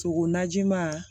Sogo najima